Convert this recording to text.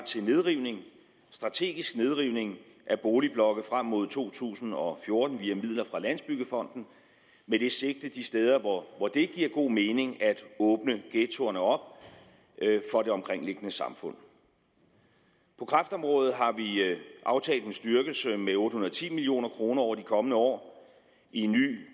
til nedrivning strategisk nedrivning af boligblokke frem mod to tusind og fjorten via midler fra landsbyggefonden med det sigte de steder hvor det giver god mening at åbne ghettoerne op for det omkringliggende samfund på kræftområdet har vi aftalt en styrkelse med otte hundrede og ti million kroner over de kommende år i en ny